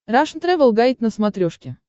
рашн тревел гайд на смотрешке